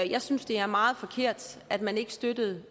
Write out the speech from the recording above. jeg synes det er meget forkert at man ikke støttede